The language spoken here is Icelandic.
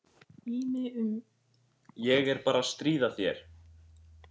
Ég er bara að stríða þér.